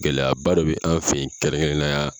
Gɛlɛyaba dɔ bɛ an fɛ kɛrɛnkɛrɛnnenya la.